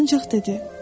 Ancaq dedi: